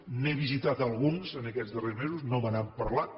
n’he visitat alguns en aquests darrers mesos no me n’han parlat